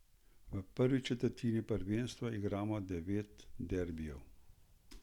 V prvi četrtini prvenstva igramo devet derbijev.